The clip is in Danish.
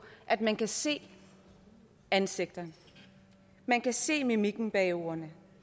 at man kan se ansigtet at man kan se mimikken bag ordene